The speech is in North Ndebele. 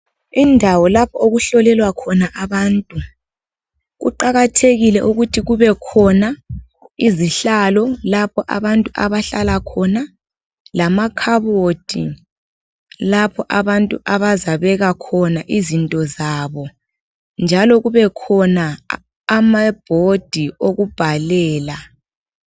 Indawo lapho okuhlolelwa khona abantu, kuqakathekile ukuthi kubekhona izihlalo lapho abantu abahlala khona lamakhabothi lapho abantu abazabeka khona izinto zabo njalo kubekhona amabhodi okubhalela.